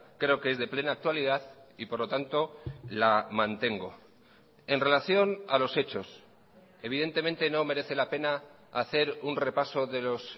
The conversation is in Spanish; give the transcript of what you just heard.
creo que es de plena actualidad y por lo tanto la mantengo en relación a los hechos evidentemente no merece la pena hacer un repaso de los